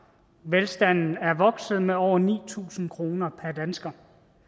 velstanden er vokset med over ni tusind kroner per dansker